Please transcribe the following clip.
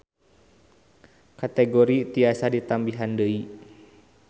Kategori tiasa ditambihan deui